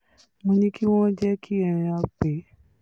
mo ní kí wọ́n jẹ́ kí um a pè é